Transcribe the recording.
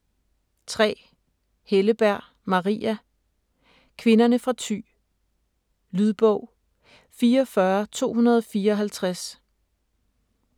3. Helleberg, Maria: Kvinderne fra Thy Lydbog 44254